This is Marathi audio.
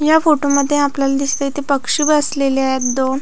ह्या फोटो मध्ये आपल्याला दिसतय इथ पक्षी बसलेले आहे दोन--